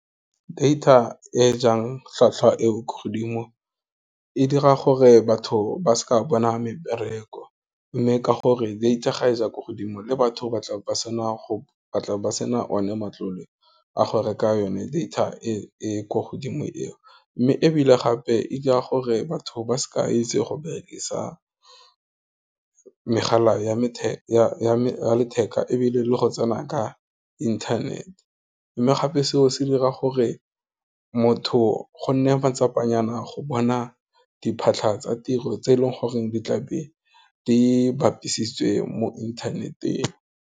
Data e jang tlhwatlhwa e ko godimo e dira gore batho ba seka bona mebereko, mme ka gore data ga ya ko godimo le batho ba tla be ba sena go sena one matlole, a go reka yone data e ko godimo eo, mme ebile gape e ka gore batho ba sa itse go berekisa megala ya letheka ebile le go tsena ka inthanete, mme gape seo se dira gore motho, go nne matsapanyana go bona diphatlha tsa tiro tse e leng goreng di tlabe di bapisiwa tswe mo inthaneteng.